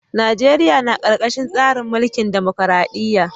Najeriya na karkashin tsarin mulkin dimokradiyya.